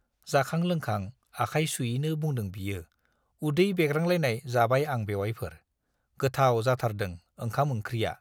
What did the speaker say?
जाखां-लोंखां आखाय सुयैनो बुंदों बियो, उदै बेग्रांलायनाय जाबाय आं बेउवाइफोर, गोथाव जाथारदों ओंखाम-ओंख्रिया।